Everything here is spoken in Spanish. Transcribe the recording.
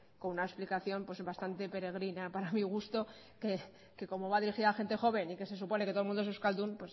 con una explicación bastante peregrina para mi gusto que como va dirigida a la gente joven y se supone que todo el mundo es euskaldun